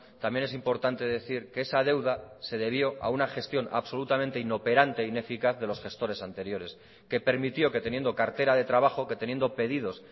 también es importante decir que esa deuda se debió a una gestión absolutamente inoperante e ineficaz de los gestores anteriores que permitió que teniendo cartera de trabajo que teniendo pedidos